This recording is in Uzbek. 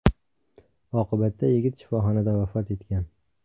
Oqibatda yigit shifoxonada vafot etgan.